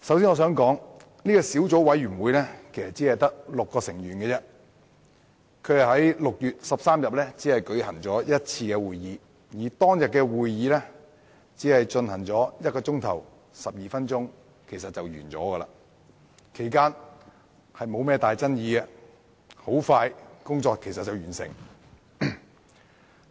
首先，小組委員會只有6名成員，並只在6月13日舉行一次會議，而那次會議亦只進行1小時12分鐘便完結，其間沒有重大爭議，很快便完成審議工作。